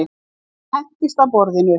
Hún hendist að borðinu.